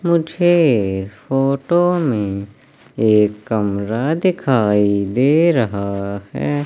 मुझे इस फोटो में एक कमरा दिखाई दे रहा है।